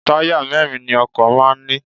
Táyà mẹ́ẹ́rin ni ọkọ̀ máà ń ní